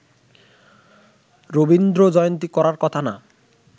রবীন্দ্রজয়ন্তী করার কথা না